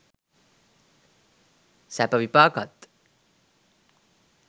සැප විපාකත්